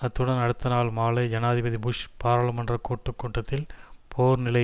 அத்துடன் அடுத்த நாள் மாலை ஜனாதிபதி புஷ் பாராளுமன்ற கூட்டு கூட்டத்தில் போர் நிலை